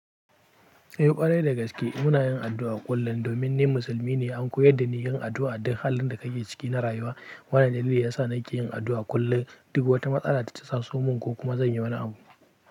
Eh ƙwarai dagaske muna yin addu'a kullum domin ni musulmi ne. An koyar da ni yin addu'a a duk halin da ka ke ciki na rayuwa. Wannan dalili ya sa na ke yin addu'a kullum duk wata matsala da ta taso mun ko kuma zan yi wani abu.